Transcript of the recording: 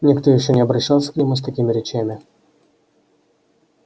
никто ещё не обращался к нему с такими речами